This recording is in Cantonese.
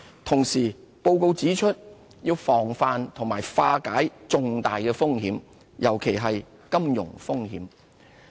同時，報告指出要防範和化解重大風險，尤其是金融風險。